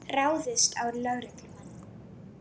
Ráðist á lögreglumann